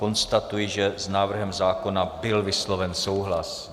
Konstatuji, že s návrhem zákona byl vysloven souhlas.